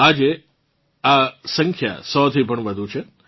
આજે આ સંખ્યા સો થી પણ વધુ છે